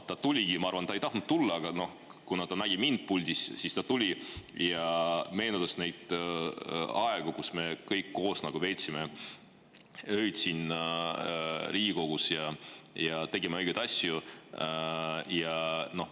Ma arvan, et ta ei tahtnud siia tulla, aga kuna ta nägi mind puldis, siis ta tuli ja meenutas neid aegu, kui me kõik koos veetsime öid siin Riigikogus ja tegime õigeid asju.